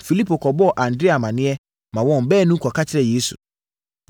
Filipo kɔbɔɔ Andrea amaneɛ maa wɔn baanu kɔka kyerɛɛ Yesu.